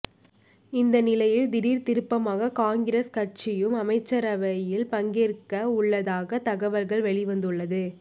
இந்த நிலையில் திடீர் திருப்பமாக காங்கிரஸ் கட்சியும் அமைச்சரவையில் பங்கேற்க உள்ளதாக தகவல்கள் வெளிவந்துள்ளது